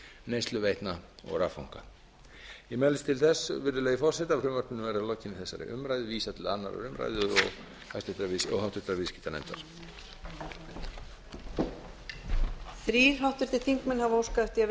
neysluveitna og raffanga ég mælist til þess virðulegi forseti að frumvarpinu verði að lokinni þessari umræðu vísað til annarrar umræðu og háttvirtur viðskiptanefndar